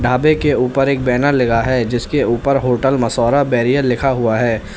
ढाबे के ऊपर एक बैनर लगा है जिसके ऊपर होटल मसौरा बैरियल लिखा हुआ है।